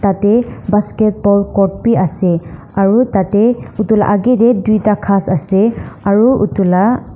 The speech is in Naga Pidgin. Tatey basketball court bhi ase aro tatey utu la agae dae duida ghas ase aro utu la--